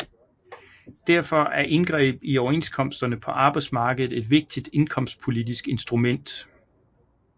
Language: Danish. Derfor er indgreb i overenskomsterne på arbejdsmarkedet et vigtigt indkomstpolitisk instrument